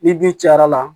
Ni du cayara